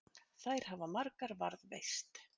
Þær hafa margar varðveist.